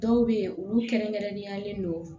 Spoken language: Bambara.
Dɔw bɛ yen olu kɛrɛnkɛrɛnnenyalen don